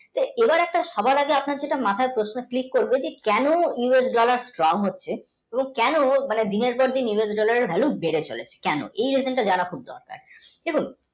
সবারটা সবার আগে আপনি যেটা মাথায় আগে কেন USdollar, strong হচ্ছে এবং কেনো US dollar এর value বেড়ে চলেছে কেন এই দুটো দাড়াতে।